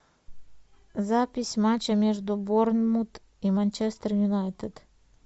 запись матча между борнмут и манчестер юнайтед